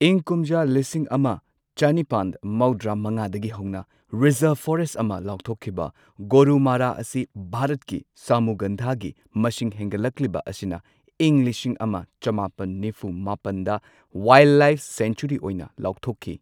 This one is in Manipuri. ꯏꯪ ꯀꯨꯝꯖꯥ ꯂꯤꯁꯤꯡ ꯑꯃ ꯆꯅꯤꯄꯥꯟ ꯃꯧꯗ꯭ꯔꯥ ꯃꯉꯥꯗꯒꯤ ꯍꯧꯅ ꯔꯤꯖꯔꯚ ꯐꯣꯔꯦꯁꯠ ꯑꯃ ꯂꯥꯎꯊꯣꯛꯈꯤꯕ ꯒꯣꯔꯨꯃꯥꯔꯥ ꯑꯁꯤ ꯚꯥꯔꯠꯀꯤ ꯁꯥꯃꯨꯒꯟꯙꯥꯒꯤ ꯃꯁꯤꯡ ꯍꯦꯟꯒꯠꯂꯛꯂꯤꯕ ꯑꯁꯤꯅ ꯏꯪ ꯂꯤꯁꯤꯡ ꯑꯃ ꯆꯃꯥꯄꯟ ꯅꯤꯐꯨ ꯃꯥꯄꯟꯗ ꯋꯥꯢꯜꯗꯂꯥꯢꯐ ꯁꯦꯡꯆꯨꯔꯤ ꯑꯣꯏꯅ ꯂꯥꯎꯊꯣꯛꯈꯤ꯫